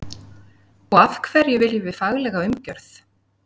Og af hverju viljum við faglega umgjörð?